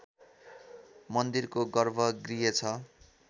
मन्दिरको गर्भगृह छ